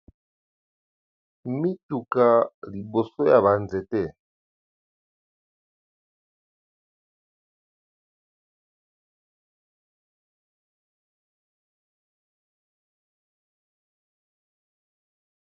Mituka liboso yabanze te.